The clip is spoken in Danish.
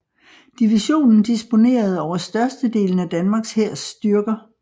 Divisionen disponerede over størstedelen af Danmarks hærs styrker